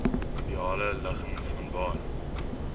ideale ligging vanwaar